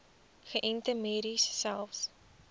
geënte merries selfs